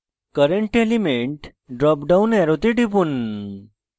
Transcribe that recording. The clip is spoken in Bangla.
current element drop down অ্যারোতে টিপুন